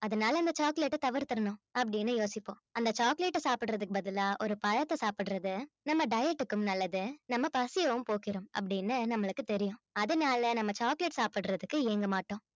அதனால இந்த chocolate அ தவிர்த்திறணும் அப்படின்னு யோசிப்போம் அந்த chocolate அ சாப்பிடறதுக்கு பதிலா ஒரு பழத்தை சாப்பிடறது நம்ம diet க்கும் நல்லது நம்ம பசியைவும் போக்கிடும் அப்படின்னு நம்மளுக்குத் தெரியும் அதனால நம்ம chocolate சாப்பிடறதுக்கு ஏங்க மாட்டோம்